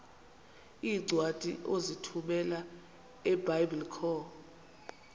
iincwadi ozithumela ebiblecor